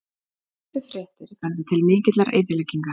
Fyrstu fréttir benda til mikillar eyðileggingar